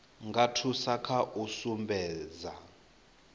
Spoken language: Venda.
nga thusa kha u sumbedza